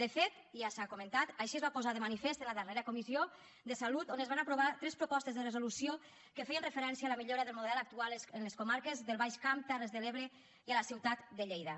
de fet ja s’ha comentat així es va posar de manifest en la darrera comissió de salut on es van aprovar tres propostes de resolució que feien referència a la millora del model actual en les comarques del baix camp terres de l’ebre i a la ciutat de lleida